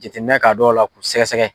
Jateminɛ k'a don la, k'u sɛgɛsɛgɛ kosɛbɛ